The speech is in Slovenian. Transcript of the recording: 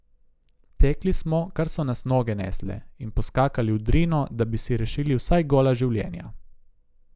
Tekli smo, kar so nas noge nesle, in poskakali v Drino, da bi si rešili vsaj gola življenja.